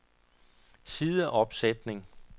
sideopsætning